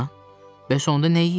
Bəs onda nə yeyirlər?